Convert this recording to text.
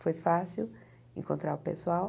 Foi fácil encontrar o pessoal.